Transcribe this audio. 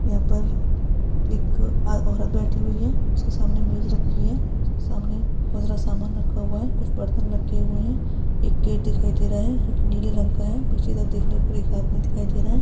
यहाँ पर एक आ औरत बैठी हुई है उसके सामने मेज़ रखी है उसके सामने बहुत सारा सामान रखा हुआ है कुछ बर्तन रखे हुये है एक गेट दिखाई दे रहा है जोकि नीले रंग का है पीछे की तरफ देखने पर एक आदमी दिखाई दे रहा हैं।